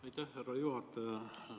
Aitäh, härra juhataja!